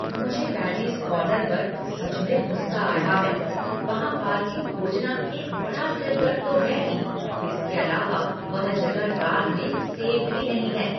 मुझे पैरीज़ कॉर्नर पर सच में गुस्सा आ रहा है। वहाँ पार्किंग खोजना एक बड़ा सिर दर्द तो है ही, इसके अलावा वह जगह रात में सेफ भी नहीं है।